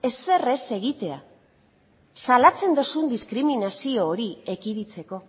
ezer ez egitea salatzen duzun diskriminazio hori ekiditeko